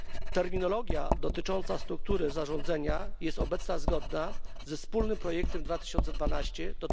Terminologia dotycząca struktury zarządzania jest obecnie zgodna ze wspólnym projektem z 2012 r.